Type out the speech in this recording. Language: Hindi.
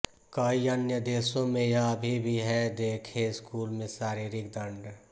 कई अन्य देशों में यह अभी भी है देखें स्कूल में शारीरिक दंड